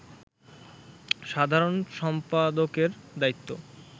সাধারণ সম্পাদকের দায়িত্ব